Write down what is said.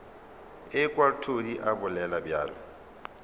ekwa todi a bolela bjalo